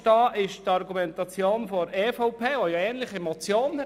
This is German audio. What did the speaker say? Die Position der EVP kann ich nicht verstehen.